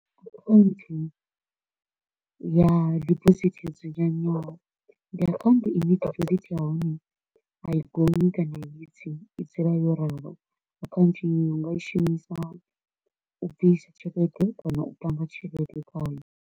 Akhaunthu ya deposit yo dzudzanywaho ndi akhaunthu i ne deposit ya hone a i gonyi kana i vhe tsini i dzule yo ralo, akhaunthu inwe u nga i shumisa u bvisa tshelede kana u panga tshelede khayo.